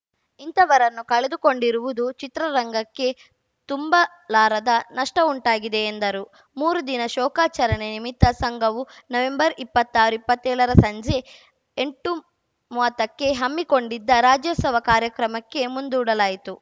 ಇಂಥವರನ್ನು ಕಳೆದುಕೊಂಡಿರುವುದು ಚಿತ್ರರಂಗಕ್ಕೆ ತುಂಬಲಾರದ ನಷ್ಟವುಂಟಾಗಿದೆ ಎಂದರು ಮೂರು ದಿನ ಶೋಕಾಚರಣೆ ನಿಮಿತ್ತ ಸಂಘವು ನವೆಂಬರ್ ಇಪ್ಪತ್ತಾರು ಇಪ್ಪತ್ತೇಳರ ಸಂಜೆ ಎಂಟು ಮೂವತ್ತಕ್ಕೆ ಹಮ್ಮಿಕೊಂಡಿದ್ದ ರಾಜ್ಯೋತ್ಸವ ಕಾರ್ಯಕ್ರಮಕ್ಕೆ ಮುಂದೂಡಲಾಗಿತ್ತು